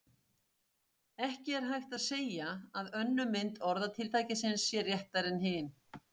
Ekki er hægt að segja að önnur mynd orðatiltækisins sé réttari en hin.